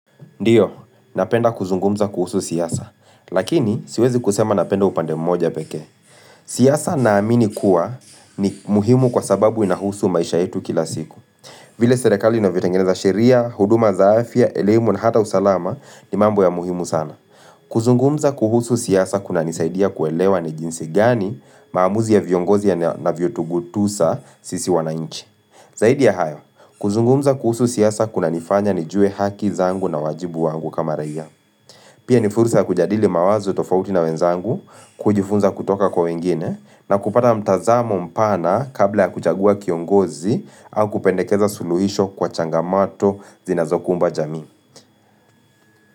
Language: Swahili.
Ndiyo, napenda kuzungumza kuhusu siasa, lakini siwezi kusema napenda upande mmoja pekee. Siasa na amini kuwa ni muhimu kwa sababu inahusu maisha yetu kila siku. Vile serekali na vitengeneza sheria, huduma za afya, elemu na hata usalama ni mambo ya muhimu sana. Kuzungumza kuhusu siasa kuna nisaidia kuelewa ni jinsi gani maamuzi ya viongozi ya na viotugutusa sisi wanainchi. Zaidi ya hayo, kuzungumza kuhusu siasa kuna nifanya nijue haki zangu na wajibu wangu kama reya. Pia nifurusa kujadili mawazo tofauti na wenzangu, kujifunza kutoka kwa wengine, na kupata mtazamo mpana kabla ya kuchagua kiongozi au kupendekeza suluhisho kwa changamato zinazokumba jami.